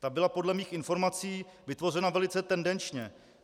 Ta byla podle mých informací vytvořena velice tendenčně.